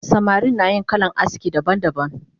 Samari nayin kalan aski daban daban